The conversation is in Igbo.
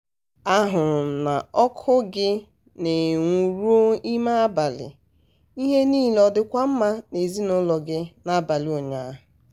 a hụrụ m na ọkụ gị na-enwu ruo ime abalị ihe niile ọ dịkwa mma n'ezinaụlọ gị n'abalị ụnyaahụ?